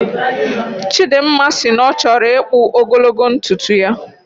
Chidimma sị na ọchọrọ ikpu ogologo ntuntu ya